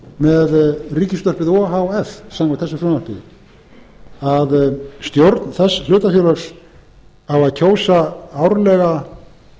með ríkisútvarpið o h f samkvæmt þessu frumvarpi að stjórn þess hlutafélags á að kjósa árlega